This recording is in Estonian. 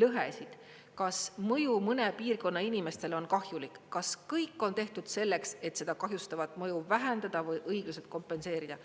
lõhesid, kas mõju mõne piirkonna inimestele on kahjulik, kas kõik on tehtud selleks, et seda kahjustavat mõju vähendada või õigused kompenseerida.